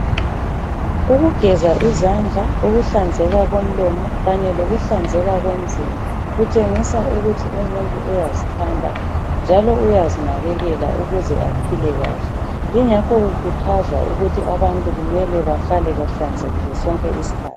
Kugeza izandla ukuhlanzeka kwomlomo kanye lokuhlanzela komzimba kutshengisa ukuthi umuntu uyazithanda njalo uyazinakekela ukuze aphile kahle ingakho kukhuthazwa ukuthi abantu kumele bahlale bahlanzekile sonke isikhathi.